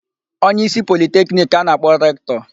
Onyeísí Politekiniki ka a na-akpọ Rektọ.